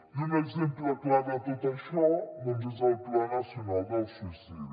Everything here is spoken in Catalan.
i un exemple clar de tot això doncs és el pla nacional del suïcidi